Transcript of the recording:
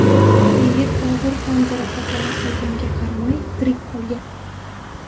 Yigit og‘ir tan jarohatlari olganiga qaramay, tirik qolgan.